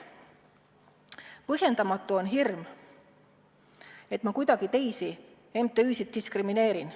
Põhjendamatu on hirm, et ma teisi MTÜ-sid kuidagi diskrimineerin.